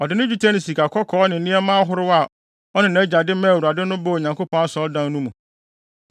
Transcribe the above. Ɔde dwetɛ ne sikakɔkɔɔ ne nneɛma ahorow a ɔne nʼagya de maa Awurade no baa Onyankopɔn Asɔredan no mu.